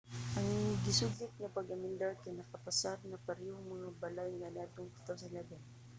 ang gisugyot nga pag-amendar kay nakapasar na sa parehas nga balay kaniadtong 2011